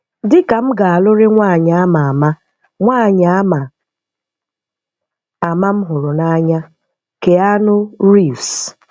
Dị ka m ga-alụ̀rị́ nwaanyị ama ama nwaanyị ama ama m hụrụ n’anya, Keanu Reeves.